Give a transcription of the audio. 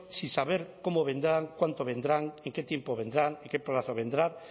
sin saber cómo vendrán cuánto vendrán en qué tiempo vendrán en qué plazo vendrán